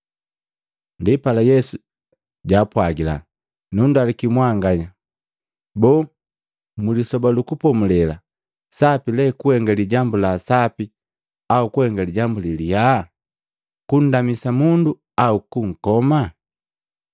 Ndipala Yesu jaapwagila, “Nundaluki mwanganya, boo, mu Lisoba lu Kupomulela sapi le kuhenga lijambu la sapi au kuhenga lijambu lilyaa, kundamisa mundu au kunkoma?”